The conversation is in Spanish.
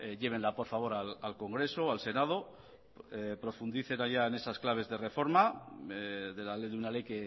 llévenla por favor al congreso o al senado profundice todavía en esas claves de reforma de la ley de una ley